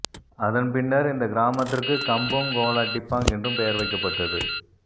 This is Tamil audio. அதன் பின்னர் இந்தக் கிராமத்திற்குக் கம்போங் கோலா டிப்பாங் என்றும் பெயர் வைக்கப்பட்டது